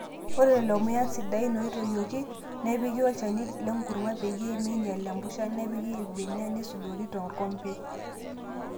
Ore lelo muyan sidain ooitoyioki, nepiki olchani lenkurma peyiee meinyal empusha nepiki irbenia neisudori torkompe.